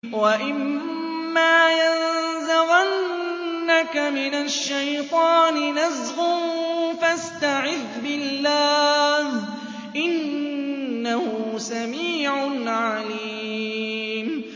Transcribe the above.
وَإِمَّا يَنزَغَنَّكَ مِنَ الشَّيْطَانِ نَزْغٌ فَاسْتَعِذْ بِاللَّهِ ۚ إِنَّهُ سَمِيعٌ عَلِيمٌ